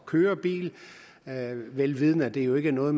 køre bil vel vidende at det jo ikke er noget